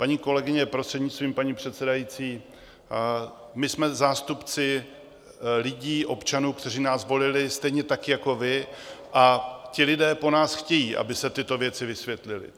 Paní kolegyně, prostřednictvím paní předsedající, my jsme zástupci lidí, občanů, kteří nás volili, stejně tak jako vás, a ti lidé po nás chtějí, aby se tyto věci vysvětlily.